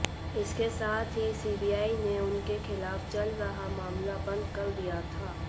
इसके साथ ही सीबीआई ने उनके खिलाफ चल रहा मामला बंद कर दिया था